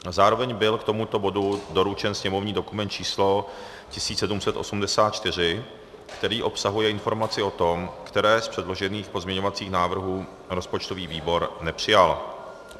Zároveň byl k tomuto bodu doručen sněmovní dokument číslo 1784, který obsahuje informaci o tom, který z předložených pozměňovacích návrhů rozpočtový výbor nepřijal.